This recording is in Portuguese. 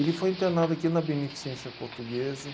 Ele foi internado aqui na Beneficência Portuguesa.